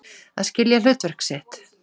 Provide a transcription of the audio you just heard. Að skilja hlutverk sitt